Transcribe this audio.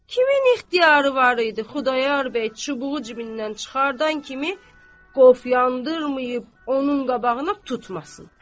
Kimin ixtiyarı var idi, Xudayar bəy çubuğu cibindən çıxardan kimi qovu yandırmayıb onun qabağına tutmasın.